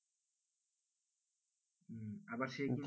হম আবার সে কিন্তু,